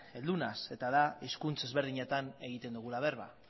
heldu naiz eta da hizkuntz ezberdinetan egiten dugula berba